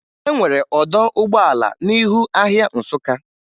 E nwere ọdọ ụgbọala n'ihu ahịa Nsụka